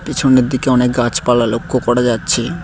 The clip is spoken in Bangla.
পিছনের দিকে অনেক গাছপালা লক্ষ করা যাচ্ছে।